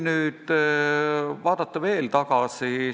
Vaatame veel tagasi.